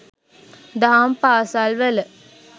දහම් පාසල් වල